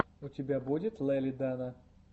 у тебя будет лели дана